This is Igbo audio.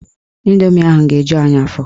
Indomi ahụ ga-eju anyị afọ.